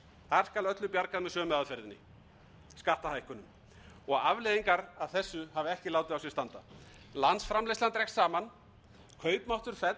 skal öllu bjargað með sömu aðferðinni skattahækkunum afleiðingar af þessu hafa ekki látið á sér standa landsframleiðslan dregst saman kaupmáttur